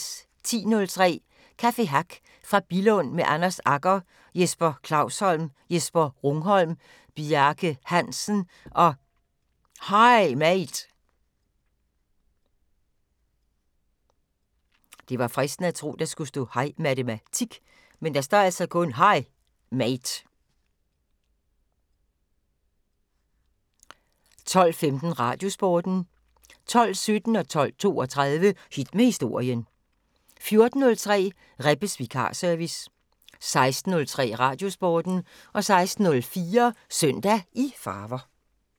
10:03: Café Hack fra Billund med Anders Agger, Jesper Klausholm, Jesper Rungholm, Bjarke Hansen og Hej Mate 12:15: Radiosporten 12:17: Hit med Historien 12:32: Hit med Historien 14:03: Rebbes Vikarservice 16:03: Radiosporten 16:04: Søndag i farver